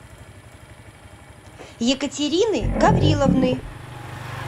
екатерины гавриловны